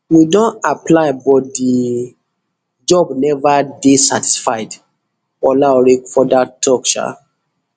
we don apply but di job neva dey certified olaore further tok um